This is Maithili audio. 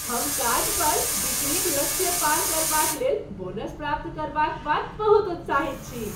हम काज पर बिक्रीक लक्ष्य पार करबाक लेल बोनस प्राप्त करबाक बाद बहुत उत्साहित छी।